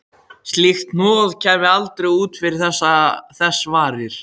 Slíkt hnoð kæmi aldrei út fyrir þess varir.